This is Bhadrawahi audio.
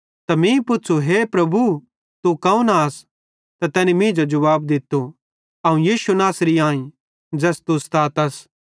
त मीं पुच़्छ़ू हे प्रभु तू कौन आस त तैनी मींजो जुवाब दित्तो अवं यीशु नासरी आईं ज़ैस तू सतातस